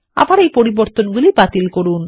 আবার এই পরিবর্তনগুলি বাতিল করুন